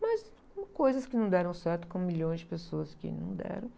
Mas tem coisas que não deram certo com milhões de pessoas que não deram.